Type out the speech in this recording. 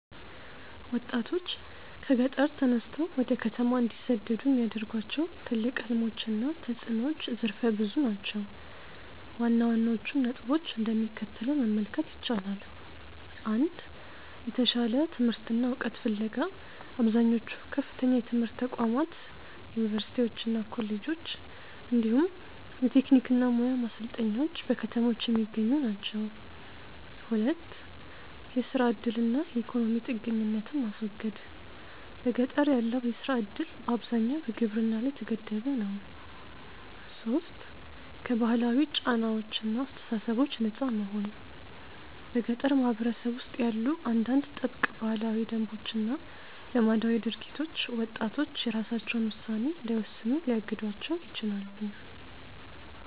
ወጣቶች ከገጠር ተነስተው ወደ ከተማ እንዲሰደዱ የሚያደርጓቸው ትልቅ ሕልሞች እና ተፅዕኖዎች ዘርፈ ብዙ ናቸው። ዋና ዋናዎቹን ነጥቦች እንደሚከተለው መመልከት ይቻላል፦ 1. የተሻለ ትምህርትና ዕውቀት ፍለጋ አብዛኞቹ ከፍተኛ የትምህርት ተቋማት (ዩኒቨርሲቲዎችና ኮሌጆች) እንዲሁም የቴክኒክና ሙያ ማሰልጠኛዎች በከተሞች የሚገኙ ናቸው። 2. የሥራ ዕድልና የኢኮኖሚ ጥገኝነትን ማስወገድ፦ በገጠር ያለው የሥራ ዕድል በአብዛኛው በግብርና ላይ የተገደበ ነው። 3. ከባህላዊ ጫናዎችና አስተሳሰቦች ነፃ መሆን :- በገጠር ማኅበረሰብ ውስጥ ያሉ አንዳንድ ጥብቅ ባህላዊ ደንቦችና ልማዳዊ ድርጊቶች ወጣቶች የራሳቸውን ውሳኔ እንዳይወስኑ ሊያግዷቸው ይችላሉ።